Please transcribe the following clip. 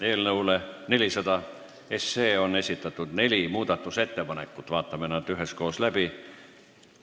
Eelnõu 400 kohta on esitatud neli muudatusettepanekut, vaatame nad üheskoos läbi.